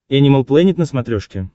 энимал плэнет на смотрешке